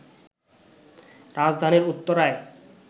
রাজধানীর উত্তরায়